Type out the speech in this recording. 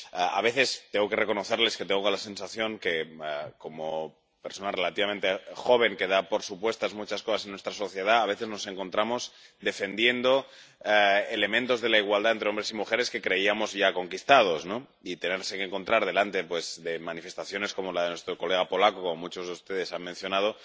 A veces tengo que reconocer que tengo la sensación de que, como persona relativamente joven que da por supuestas muchas cosas en nuestra sociedad, a veces nos encontramos defendiendo elementos de la igualdad entre hombres y mujeres que creíamos ya conquistados, y tenerse que encontrar ante manifestaciones como la de nuestro colega polaco —como muchos de ustedes han mencionado—